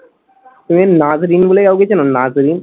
তুমি নাজরীন বলে কাউকে চেনো? নাজরীন?